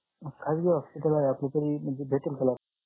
hospital आहे आपलं तरी म्हणजे अं भेटेल का लाभ